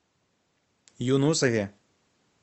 юнусове